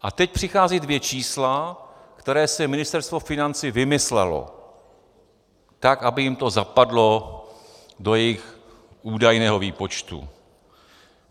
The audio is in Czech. A teď přicházejí dvě čísla, která si Ministerstvo financí vymyslelo, tak aby jim to zapadlo do jejich údajného výpočtu.